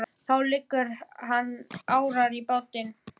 Þá leggur hann árar í bát.